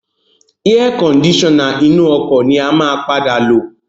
Air kondisona inú ọkọ̀ ni a máa padà lo